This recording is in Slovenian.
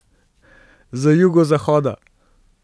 Z jugozahoda.